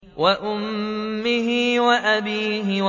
وَأُمِّهِ وَأَبِيهِ